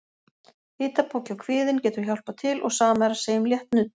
Hitapoki á kviðinn getur hjálpað til og sama er að segja um létt nudd.